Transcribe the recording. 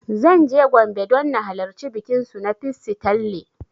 Zan je Gombe don na halarci bikin su na ''Pissi tanle''